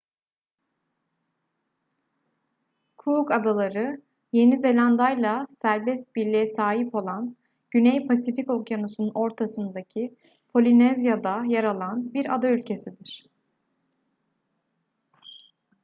cook adaları yeni zelanda'yla serbest birliğe sahip olan güney pasifik okyanusu'nun ortasındaki polinezya'da yer alan bir ada ülkesidir